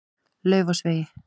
Laufásvegi